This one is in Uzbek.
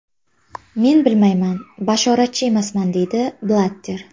Men bilmayman, bashoratchi emasman”, deydi Blatter.